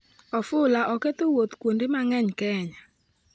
Ofula oketho wuoth kuonde mang'eny Kenya